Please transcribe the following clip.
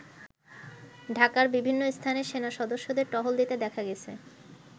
ঢাকার বিভিন্ন স্থানে সেনা সদস্যদের টহল দিতে দেখা গেছে।